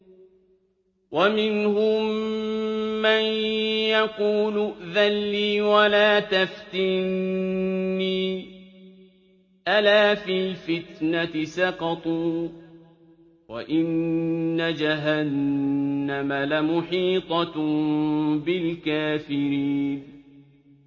وَمِنْهُم مَّن يَقُولُ ائْذَن لِّي وَلَا تَفْتِنِّي ۚ أَلَا فِي الْفِتْنَةِ سَقَطُوا ۗ وَإِنَّ جَهَنَّمَ لَمُحِيطَةٌ بِالْكَافِرِينَ